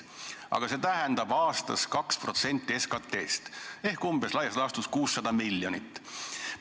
Aga see tähendab aastas 2% SKT-st ehk laias laastus 600 miljonit.